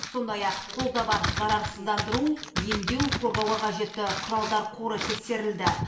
сондай ақ қолда бар зарарсыздандыру емдеу қорғауға қажетті құралдар қоры тексерілді